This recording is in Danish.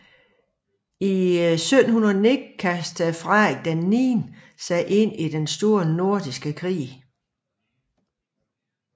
I 1709 kastede Frederik IV sig ind i Den Store Nordiske Krig